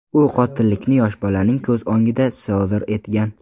U qotillikni yosh bolaning ko‘z o‘ngida sodir etgan.